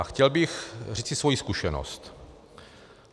A chtěl bych říci svoji zkušenost.